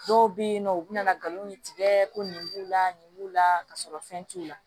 Dɔw bɛ yen nɔ u bɛ na nkalon min tigɛ ko nin b'u la nin b'u la ka sɔrɔ fɛn t'u la